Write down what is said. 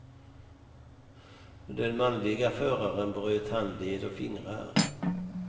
Den manliga föraren bröt handled och fingrar.